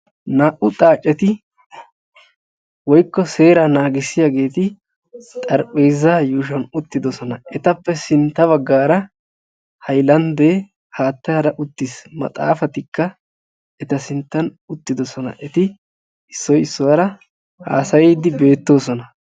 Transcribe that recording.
Naa'u xaacetti xarapheezza yuushuwan uttidosonna. Etta matan haattaykka uttiis ettikka issoy issuwara uttidosonna.